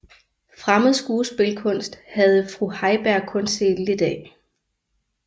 Fremmed skuespilkunst havde fru Heiberg kun set lidt af